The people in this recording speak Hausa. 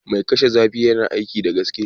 Mai kashe zafi yana aiki da gaske